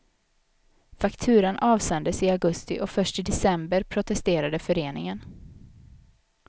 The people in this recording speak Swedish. Fakturan avsändes i augusti och först i december protesterade föreningen.